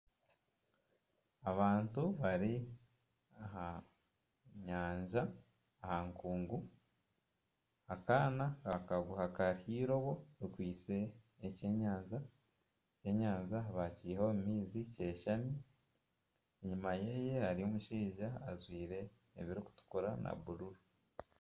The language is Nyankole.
Abantu bari aha nyanja aha nkungu, akaana kakwata akaguha k'eirobo rikwitse ekyenyanja, ekyenyanja baakiiha omu maizi kyeshami, enyima ye hariyo omushaija ajwire ebirikutura na bururu